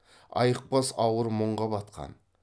айықпас ауыр мұңға батқан